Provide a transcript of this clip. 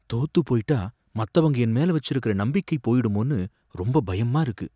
தோத்து போயிட்டா மத்தவங்க என் மேல வச்சிருக்கற நம்பிக்கை போயிடுமோனு ரொம்ப பயமா இருக்கு.